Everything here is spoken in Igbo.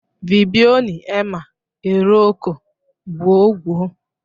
Vbioni ema erọọkọ gwun̄ gwun̄.